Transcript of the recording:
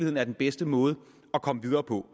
er den bedste måde at komme videre på